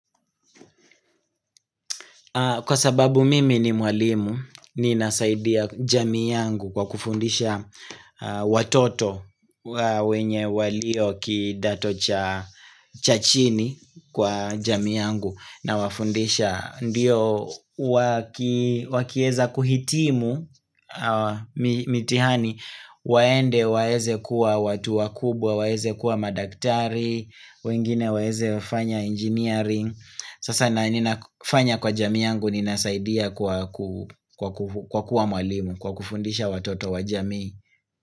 Kwa sababu mimi ni mwalimu ninasaidia jamii yangu kwa kufundisha watoto wenye walio kidato cha chini kwa jami yangu nawafundisha Ndiyo wakieza kuhitimu mitihani waende waeze kuwa watu wakubwa waeze kuwa madaktari wengine waeze wafanya engineering Sasa na ninafanya kwa jamii yangu ninasaidia kwa kuwa mwalimu Kwa kufundisha watoto wa jami.